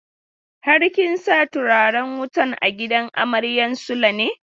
Har kin sa turaren wutan a gidan amaryan Sule ne?